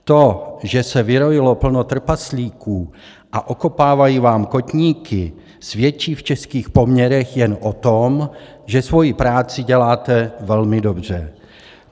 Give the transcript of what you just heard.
To, že se vyrojilo plno trpaslíků a okopávají vám kotníky, svědčí v českých poměrech jen o tom, že svoji práci děláte velmi dobře.